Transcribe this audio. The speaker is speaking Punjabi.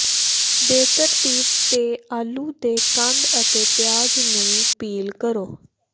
ਬੇਤਰਤੀਬ ਤੇ ਆਲੂ ਦੇ ਕੰਦ ਅਤੇ ਪਿਆਜ਼ ਨੂੰ ਪੀਲ ਕਰੋ